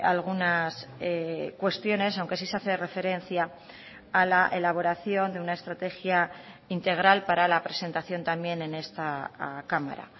algunas cuestiones aunque sí se hace referencia a la elaboración de una estrategia integral para la presentación también en esta cámara